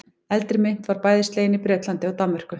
Eldri mynt var bæði slegin í Bretlandi og Danmörku.